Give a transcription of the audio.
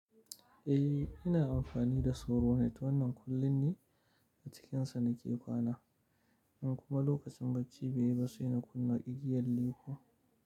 Eh ina amfani da sauro net wannan kullin ne cikin su nake kwana, in kuma lokacin baci baiyi ba sai in kuna igya lepa.